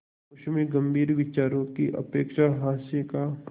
उसमें गंभीर विचारों की अपेक्षा हास्य का